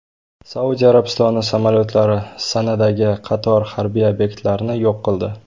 Saudiya Arabistoni samolyotlari Sanadagi qator harbiy obyektlarni yo‘q qildi.